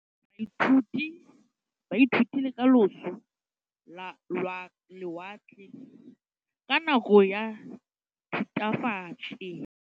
Baithuti ba ithutile ka losi lwa lewatle ka nako ya Thutafatshe.